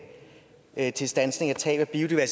at standse tabet af